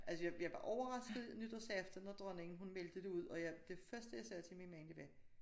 Altså jeg jeg var overrasket nytårsaften når dronningen hun meldte det ud og jeg det første jeg sagde til min mand det var